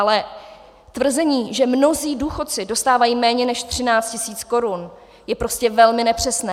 Ale tvrzení, že mnozí důchodci dostávají méně než 13 000 korun, je prostě velmi nepřesné.